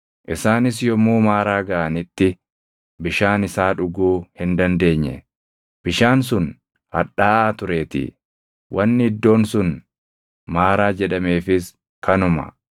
Isaanis yommuu Maaraa gaʼanitti bishaan isaa dhuguu hin dandeenye; bishaan sun hadhaaʼaa tureetii. Wanni iddoon sun Maaraa jedhameefis kanuma.